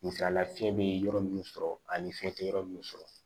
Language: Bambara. Misalila fiɲɛ be yɔrɔ munnu sɔrɔ ani fiɲɛ te yɔrɔ munnu sɔrɔ